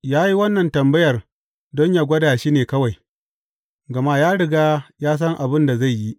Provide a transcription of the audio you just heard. Ya yi wannan tambayar don yă gwada shi ne kawai, gama ya riga ya san abin da zai yi.